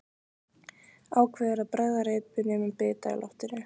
Ákveður að bregða reipinu um bita í loftinu.